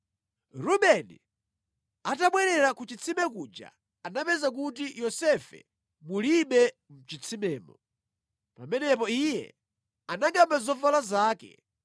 Rubeni atabwerera ku chitsime kuja anapeza kuti Yosefe mulibe mʼchitsimemo. Pamenepo iye anangʼamba zovala zake